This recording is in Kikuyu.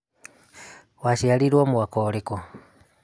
Waciarĩĩrũo mwaka urikũ?